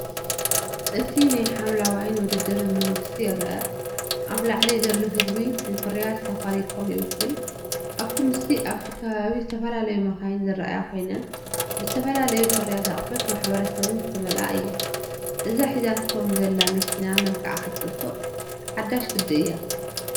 እቲ ናይ ሓምለዋይን ውድድርን መንግስትን ይረአ፣ ኣብ ላዕሊ ዘሎ ህዝቢ ንፍርያት 'ሳፋሪኮም' ይውክል። ኣብቲ ምስሊ ኣብቲ ከባቢ ዝተፈላለያ መካይን ዝረኣያ ኮይነን፡ ብዝተፈላለዩ ፍርያትን ኣቑሑት ማሕበረሰብን ዝተመልኣ እየን። እዛ ሒዛቶም ዘላ መኪና መልክዓ ክትፅብቕ፣ ሓዳሽ ግድእያ፡፡